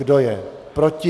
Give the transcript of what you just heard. Kdo je proti?